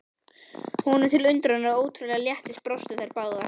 Honum til undrunar og ótrúlegs léttis brostu þær báðar.